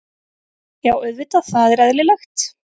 Já auðvitað, það er eðlilegt.